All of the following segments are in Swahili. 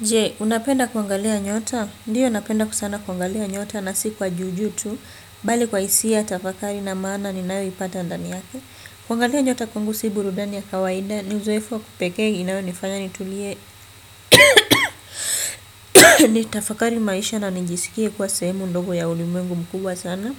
Je, unapenda kungalia nyota? Ndiyo napenda sana kuangalia nyota na si kwa juu juu, bali kwa hisia tafakari na maana ninayoipata ndani yake. Kuangalia nyota kwangu si burudani ya kawaida, ni uzoefu wa kipekee inayonifanya ni tulie ni tafakari maisha na nijisikie kwa sehemu ndogo ya ulimwengu mkubwa sana.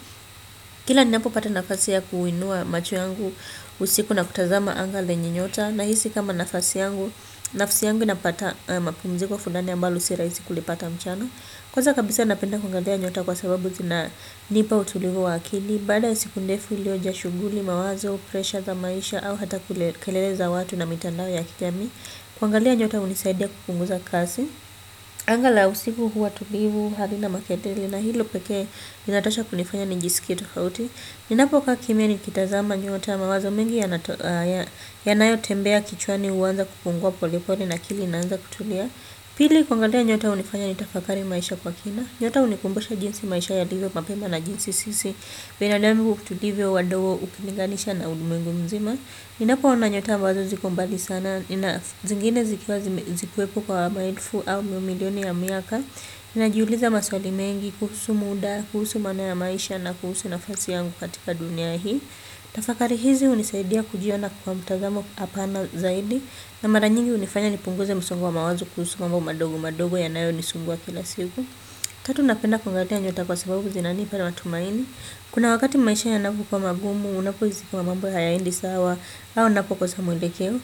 Kila ni napo pata nafasi ya kuinua macho yangu, usiku na kutazama anga lenye nyota, na hisi kama nafasi yangu, nafsi yangu inapata mapumziko fulani ambalo si rahisi kulipata mchana. Kwanza kabisa napenda kuangalia nyota kwa sababu zinanipa utulivu wa akili. Baada ya siku ndefu iliyojaa shughuli, mawazo, pressure za maisha au hata kulekeleza watu na mitandao ya kijamii. Kuangalia nyota hunisaidia kupunguza kazi. Angalau usiku huwa tulivu, hali na maketeli. Na hilo pekee inatosha kunifanya nijisikite tofauti. Ninapokaa kimya nikitazama nyota mawazo mingi yanayo tembea kichwani huanza kupungua polepole na akili inaanza kutulia. Pili kuangalia nyota hunifanya ni tafakari maisha kwa kina. Nyota hunikumbusha jinsi maisha yalivyo mapema na jinsi sisi, binadamu kutulivyo, wadogo, ukininganisha na ulimengu mzima. Ninapoona nyota ambazo ziko mbali sana, zingine zikwepo kwa maelfu au mamilioni ya miaka. Ninajiuliza maswali mengi, kuhusu muda, kuhusu maana ya maisha na kuhusu nafasi yangu katika dunia hii. Tafakari hizi hunisaidia kujiona kwa mtazamo pana zaidi na mara nyingi hunifanya nipunguze msongo wa mawazo kuhusu mambo madogo madogo yanayonisumbua kila siku. Tatu napenda kungalia nyota kwa sababu zinanipa matumaini. Kuna wakati maisha ya napokuwa magumu unapohisi kuwa mambo hayaendi sawa au napokosa mwelekeo.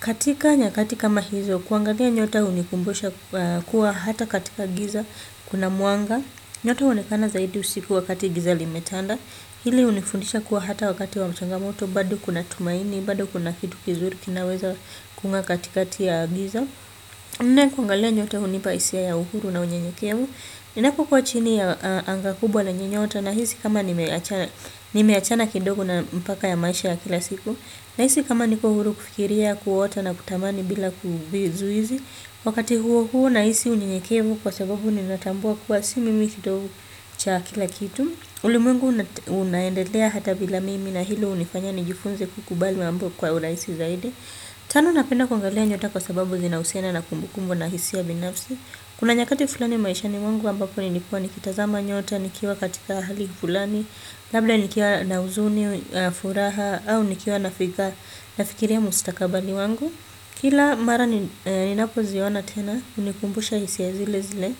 Katika nyakati kama hizo kuangalia nyota hunikumbusha kuwa hata katika giza kuna mwanga. Nyota huonekana zaidi usikuwa wakati giza limetanda hili hunifundisha kuwa hata wakati wa changamoto bado kuna tumaini, bado kuna kitu kizuri kinaweza kungaa katikati ya giza nne kuangalia nyote hunipa hisia ya uhuru na unyenyekevu ninapokuwa chini ya anga kubwa na yenye nyota nahisi kama nimeachana kidogo na mpaka ya maisha ya kila siku na hizi kama niko uhuru kufikiria kuoto na kutamani bila ku vizuizi wakati huo huo nahisi unyenyekevu kwa sababu ninatambua kuwa simimi kidofu cha kila kitu uli mwengu unaendelea hata bila mimi na hilo hunifanya nijifunze kukubali mambo kwa urahisi zaidi. Tano napenda kuangalia nyota kwa sababu zinahusiana na kumbukumbu na hisia ya binafsi. Kuna nyakati fulani maishani mwangu ambapo nilikuwa nikitazama nyota, nikiwa katika hali fulani, labda nikiwa na huzuni, furaha, au nikiwa na fikiria mustakabali wangu. Kila mara ninapo ziona tena, hunikumbusha hisia zile zile.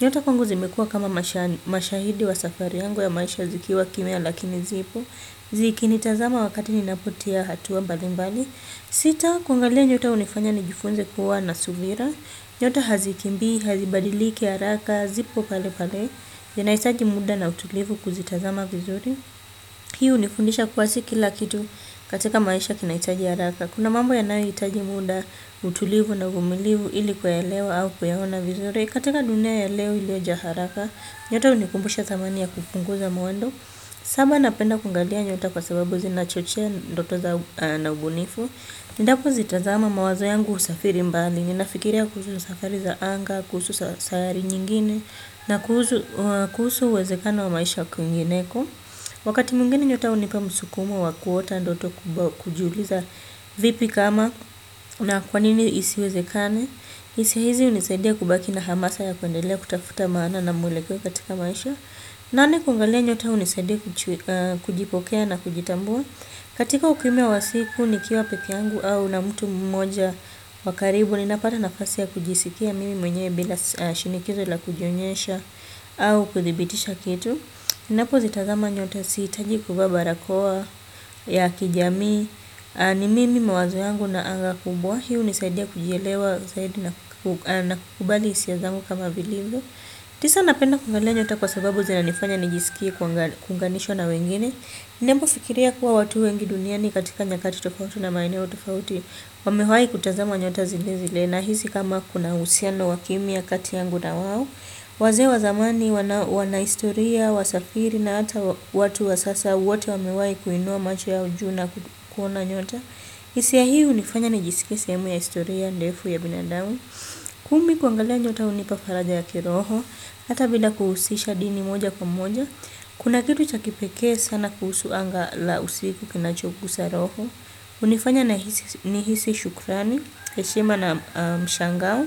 Nyota kwangu zimekuwa kama mashahidi wa safari yangu ya maisha zikiwa kimya lakini zipo. Zikinitazama wakati ninapotia hatua mbalimbali. Sita, kungalia nyota hunifanya nijifunze kuwa na subira. Nyota hazikimbii hazibadiliki haraka ziko palepale yanahitaji muda na utulivu kuzitazama vizuri. Pia hunifundisha kuwa si kila kitu katika maisha kinahitaji haraka. Kuna mambo yanayohitaji muda, utulivu na uvumilivu ili kuelewa au kuyaona vizuri. Katika dunia ya leo ilio jaa haraka, nyota hunikumbusha thamani ya kupunguza mwendo. Saba napenda kuangalia nyota kwa sababu zinachochea ndoto za na ubunifu. Endapo zitazama mawazo yangu husafiri mbali. Ninafikiria kuhusu safari za anga, kuhusu safari nyingine, na kuhusu uwezekano wa maisha kwingineko. Wakati mwingine nyota hunipa msukumo wa kuota ndoto kujiuliza vipi kama na kwa nini isiwezekane. Hisia hizi hunisaidia kubaki na hamasa ya kuendelea kutafuta maana na mwelekeo katika maisha. Nane kuangalia nyota hunisaidia kujipokea na kujitambua. Katika ukimia wa siku ni kiwa pekee yangu au na mtu mmoja wa karibu ninapata nafasi ya kujisifia mimi mwenyewe bila shinikizo la kujionyesha au kudhibitisha kitu ninapozitazama nyota sihitaji kuvaa barakoa ya kijamii. Ni mimi mawazo yangu na anga kubwa. Hii hunisaidia kujielewa zaidi na kukubali hisia zangu kama vilivyo. Tisa napenda kuangalia nyota kwa sababu zina nifanya nijisikie kuunganisho na wengine. Ninapo fikiria kuwa watu wengi duniani katika nyakati tofauti na maeneo tofauti. Wamewahi kutazama nyota zile zile nahisi kama kuna uhusiano wa kimya kati yangu na wao. Wazee wa zamani, wana historia, wasafiri na hata watu wa sasa wote wamehawahi kuinua macho yao juu na kuona nyota. Hisia hii hunifanya nijisike sehemu ya historia ndefu ya binadamu. Kumi kuangalia nyota hunipa faraja ya kiroho. Hata bila kuhusisha dini moja kwa moja kuna kitu cha kipekee sana kuhusu anga la usiku kinachogusa roho hunifanya ni hisi shukrani. Heshima na mshangao.